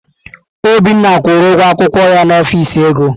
Obinna kwụrụ ụgwọ akwụkwọ ya n'ọfịs ego.